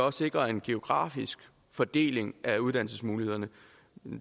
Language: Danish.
at sikre en geografisk fordeling af uddannelsesmulighederne